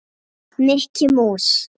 Mikki mús.